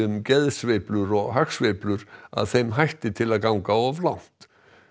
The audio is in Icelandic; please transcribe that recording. geðsveiflur og hagsveiflur að þeim hætti til að ganga of langt